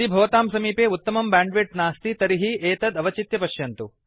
यदि भवतां समीपे उत्तमं बैण्डविड्थ नास्ति तर्हि एतत् अवचित्य पश्यन्तु